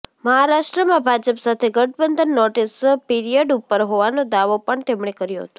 મહારાષ્ટ્રમાં ભાજપ સાથે ગઠબંધન નોટિસ પિરિયડ ઉપર હોવાનો દાવો પણ તેમણે કર્યો હતો